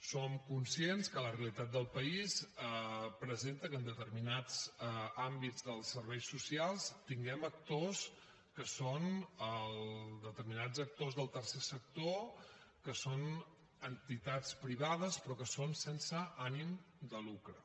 som conscients que la realitat del país presenta que en determinats àmbits dels serveis socials tinguem actors que són determinats actors del tercer sector entitats privades però que són sense ànim de lucre